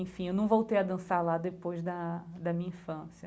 Enfim, eu não voltei a dançar lá depois da da minha infância.